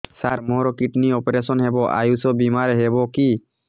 ସାର ମୋର kidney operation ହେବ ଆୟୁଷ ବିମାରେ ହେବ କି